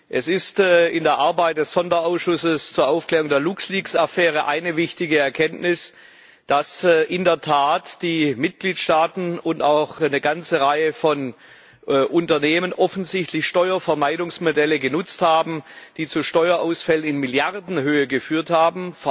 Es ist in der Arbeit des Sonderausschusses zur Aufklärung der LuxLeaks Affäre eine wichtige Erkenntnis, dass in der Tat die Mitgliedstaaten und auch eine ganze Reihe von Unternehmen offensichtlich Steuervermeidungsmodelle genutzt haben, die zu Steuerausfällen in Milliardenhöhe geführt haben.